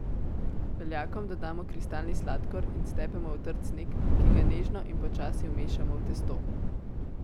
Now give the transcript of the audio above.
Beljakom dodamo kristalni sladkor in stepemo v trd sneg, ki ga nežno in počasi vmešamo v testo.